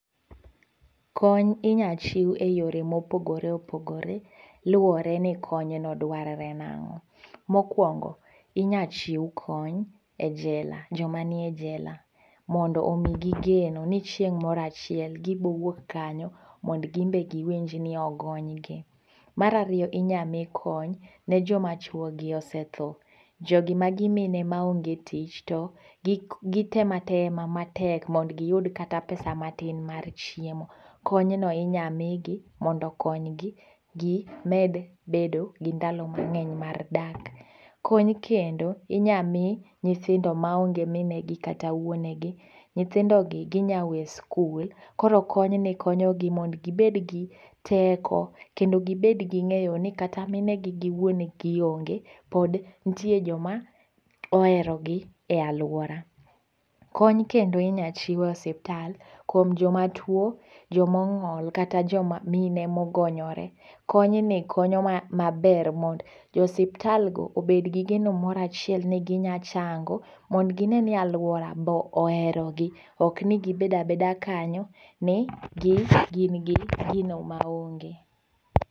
Kony inyal chiu e yore mopogore opogore, luore ni konyno dwarore nango' , mokuongo inyal chiu kony e jela , jomanie jela mondo omigi geno ni chieng' moro achiel gibo wuok kanyo mondo gimbe giwinj ni ogonygi, marariyo inyalo mi kony ne joma chuogi osetho, jogi magi mine ma onge tich to gitemo atema matek mondo giyud kata pesa matin mar chiemo, konyno inyamigi mondo okonygi gi med bedo gi ndalo mange'ny mar dak, kony kendo inya mi nyithindo maonge minegi kata wuonegi, nyithindogi ginyalo we skul koro konyni konyogi mondo gibed gi teko kendo gi bed gi nge'yo ni kata minegi gi wuonegi onge pod nitie joma oherogi e alwuora, kony kendo inyal chiew e ospital kuom joma tuo joma ongo'l kata joma mine ma ogonyore, konyni konyo maber mond jo osiptal go obed gi geno moro achiel ni gi nya chango mondo gi ne ni aluora be oherogi ok ni gibedo abeda kanyo ni gi gin gi gino maonge.